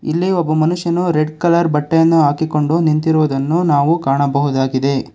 ಇಲ್ಲಿ ಒಬ್ಬ ಮನುಷ್ಯನು ರೆಡ್ ಕಲರ್ ಬಟ್ಟೆಯನ್ನು ಹಾಕಿಕೊಂಡು ನಿಂತಿರುದನ್ನು ನಾವು ಕಾಣಬಹುದಾಗಿದೆ.